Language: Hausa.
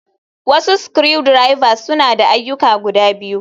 Wasu screw drivers, suna da ayyuka biyu.